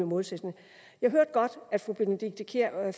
målsætningen jeg hørte godt at fru benedikte kiær